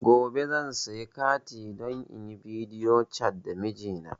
Gobe zan siya kati don inyi bidiyo cat da mijina